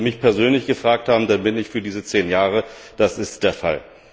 Aber wenn Sie mich persönlich gefragt haben, dann bin ich für diese zehn Jahre. Das ist der Fall.